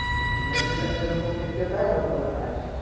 মানে যেটা যেরকম দেখতে চায় ওরকম ভাবে suggest আসে,